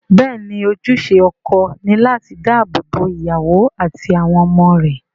Bẹ́ẹ̀ ni, ojúṣe ọkọ ni láti dáàbò bo ìyàwó àti àwọn ọmọ rẹ̀